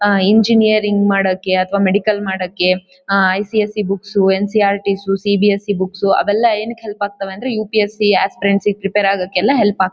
ಆಹ್ಹ್ engineering ಮಾಡೋಕೆ ಅಥವಾ medical ಮಾಡೋಕೆ ICIC books NCERT books CBSE books ಅವೆಲ್ಲ ಏನಕ್ಕೆ ಹೆಲ್ಪ್ ಆಗ್ತವೆ ಅಂದ್ರೆ ಯುಪಿಎಸ್ಸಿ ಆಸ್ಪೀರೆನ್ಸಿ ಪ್ರಿಪೇರ್ ಆಗೋಕೆ ಎಲ್ಲ ಹೆಲ್ಪ್--